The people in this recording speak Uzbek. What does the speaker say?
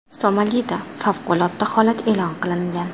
Somalida favqulodda holat e’lon qilingan.